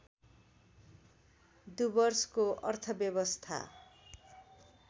डुवर्सको अर्थव्यवस्था